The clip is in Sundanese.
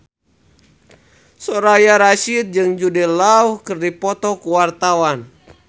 Soraya Rasyid jeung Jude Law keur dipoto ku wartawan